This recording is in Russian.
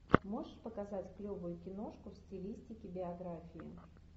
можешь показать клевую киношку в стилистике биография